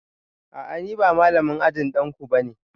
A'a ni ba malamin ajin danku ba ne